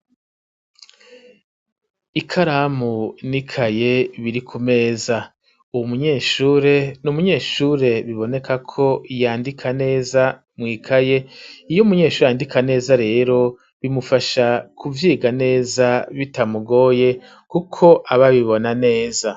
Ikaramu n'ikaye biri ku meza, uwu munyeshure, ni umunyeshure biboneka ko yandika neza mw'ikaye; iyo umunyeshure yandika neza rero, bimufasha kuvyiga neza bitamugoye, kuko aba abibona neza.